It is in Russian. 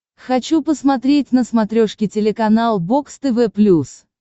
хочу посмотреть на смотрешке телеканал бокс тв плюс